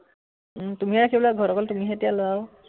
উম তুমিয়ে ৰাখিব লাগিব, ঘৰত অকল তুমিহে এতিয়া লৰা আও